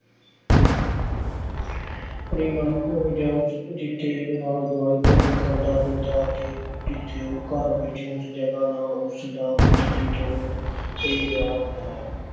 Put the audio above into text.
ਆਪਣੀ ਮਾਤ-ਭੂਮੀ ਜਾਂ ਅਹ ਜਿੱਥੇ ਆਲੇ-ਦੁਆਲੇ ਭੋਜਨ ਖਾਂਦਾ-ਪੀਂਦਾ ਅਤੇ ਜਿੱਥੇ ਉਹ ਘਰ ਵਿੱਚ, ਉਸ ਜਗ੍ਹਾ ਨਾਲ, ਉਸਦਾ ਕੁਦਰਤੀ ਤੌਰ ਤੇ ਪਿਆਰ ਹੁੰਦਾ ਹੈ।